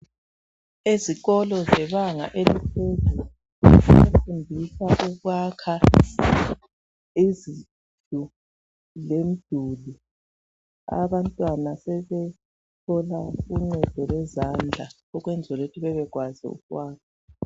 Esikolo zebanga eliphezulu bafundiswa ukwakha izindlu lemiduli abantwana sebethola uncendo lwezandla ukwenzela ukuthi bebe kwazi ukwakha